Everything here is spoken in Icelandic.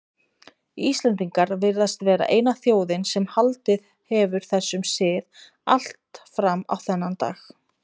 Íslendingar virðast vera eina þjóðin sem haldið hefur þessum sið allt fram á þennan dag.